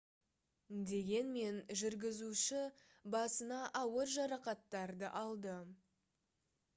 дегенмен жүргізуші басына ауыр жарақаттарды алды